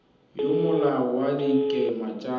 ya molao wa dikema tsa